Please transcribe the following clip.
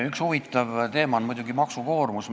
Üks huvitav teema on muidugi maksukoormus.